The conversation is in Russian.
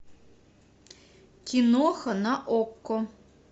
киноха на окко